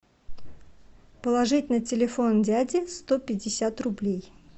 положить на телефон дяди сто пятьдесят рублей